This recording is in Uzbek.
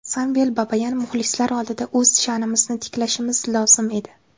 Samvel Babayan: Muxlislar oldida o‘z sha’nimizni tiklashimiz lozim edi.